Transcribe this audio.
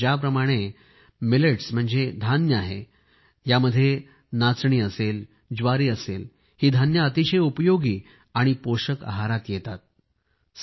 आता ज्याप्रमाणे मिलेटस म्हणजे धान्य आहे यामध्ये रागी आहे ज्वारी आहे ही धान्ये अतिशय उपयोगी आणि पोषक आहारात येतात